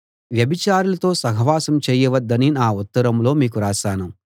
వ్యభిచారులతో సహవాసం చేయవద్దని నా ఉత్తరంలో మీకు రాశాను